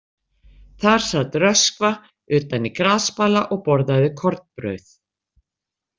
Þar sat Röskva utan í grasbala og borðaði kornbrauð.